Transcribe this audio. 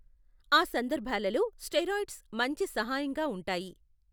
ఆ సందర్భాలలో స్టెరాయిడ్స్ మంచి సహాయంగా ఉంటాయి.